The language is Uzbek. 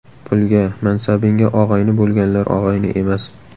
Pulga, mansabingga og‘ayni bo‘lganlar og‘ayni emas.